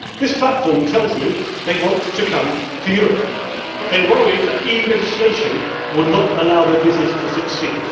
This platform tells me that they want to come to Europe but they are worried that EU legislation would not allow their business to succeed.